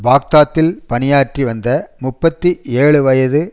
பாக்தாத்தில் பணியாற்றி வந்த முப்பத்தி ஏழுவயது